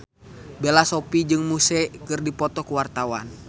Bella Shofie jeung Muse keur dipoto ku wartawan